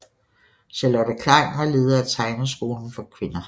Charlotte Klein var leder af Tegneskolen for Kvinder